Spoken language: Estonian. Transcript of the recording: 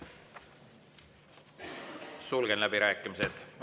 Sulgen läbirääkimised.